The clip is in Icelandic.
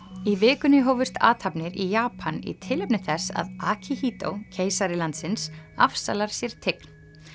í vikunni hófust athafnir í Japan í tilefni þess að keisari landsins afsalar sér tign